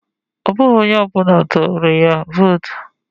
Ọ bụghị onye ọbụla tụrụ ya vootu